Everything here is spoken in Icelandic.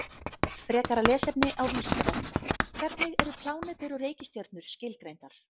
Frekara lesefni á Vísindavefnum: Hvernig eru plánetur og reikistjörnur skilgreindar?